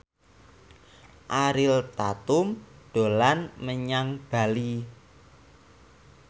Ariel Tatum dolan menyang Bali